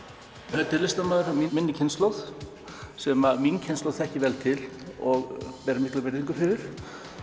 þetta er listamaður af minni kynslóð sem mín kynslóð þekkir vel til og ber mikla virðingu fyrir